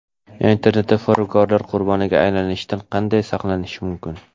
Internetda firibgarlar qurboniga aylanishdan qanday saqlanish mumkin?.